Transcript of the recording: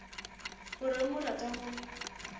o reng o rata go